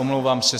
Omlouvám se.